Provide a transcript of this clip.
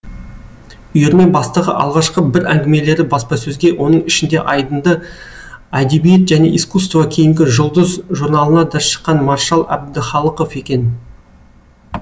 үйірме бастығы алғашқы бір әңгімелері баспасөзге оның ішінде айдынды әдебиет және искусство кейінгі жұлдыз журналына да шыққан маршал әбдіхалықов екен